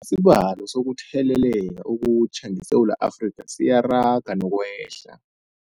Isibalo sokuthele leka okutjha ngeSewula Afrika siyaraga nokwehla.